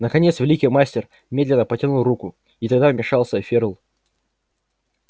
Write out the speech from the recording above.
наконец великий мастер медленно потянул руку и тогда вмешался ферл